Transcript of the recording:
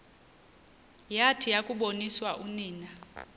yathi yakuboniswa unina